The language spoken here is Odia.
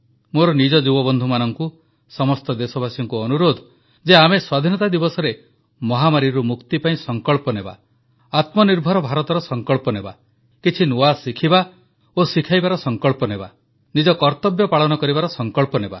ମୋର ନିଜ ଯୁବବନ୍ଧୁମାନଙ୍କୁ ସମସ୍ତ ଦେଶବାସୀଙ୍କୁ ଅନୁରୋଧ ଯେ ଆମେ ସ୍ୱାଧୀନତା ଦିବସରେ ମହାମାରୀରୁ ମୁକ୍ତି ପାଇଁ ସଂକଳ୍ପ ନେବା ଆତ୍ମନିର୍ଭର ଭାରତର ସଂକଳ୍ପ ନେବା କିଛି ନୂଆ ଶିଖିବା ଓ ଶିଖାଇବାର ସଂକଳ୍ପ ନେବା ନିଜ କର୍ତ୍ତବ୍ୟ ପାଳନ କରିବାର ସଂକଳ୍ପ ନେବା